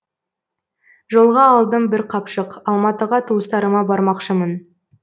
жолға алдым бір қапшық алматыға туыстарыма бармақшымын